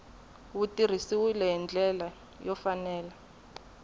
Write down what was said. wu tirhisiwile hi ndlela yo